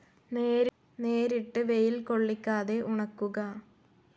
നേരിട്ട് വെയിൽ കൊള്ളിക്കാതെ ഉണക്കുക